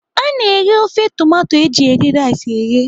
A na-eghe ofe tomato eji eri rice eghe.